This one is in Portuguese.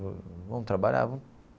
Vamos trabalhar?